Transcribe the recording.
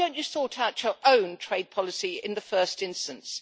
Why don't you sort out to own trade policy in the first instance?'